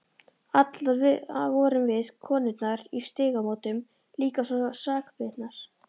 Allar vorum við, konurnar í Stígamótum, líka svo sakbitnar.